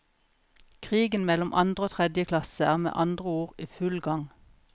Krigen mellom andre og tredje klasse er med andre ord i full gang.